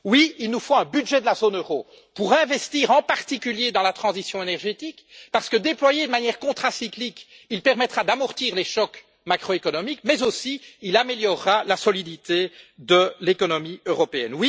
Oui, il nous faut un budget de la zone euro pour investir en particulier dans la transition énergétique, parce que, déployé de manière contracyclique, il permettra d'amortir les chocs macroéconomiques, mais il améliorera aussi la solidité de l'économie européenne.